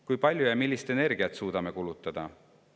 Kui palju ja millist energiat suudame me kulutada?